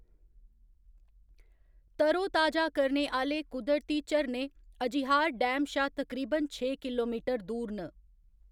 तरो ताजा करने आह्‌‌‌ले कुदरती झरने अजहियार डैम शा तकरीबन छे किलोमीटर दूर न।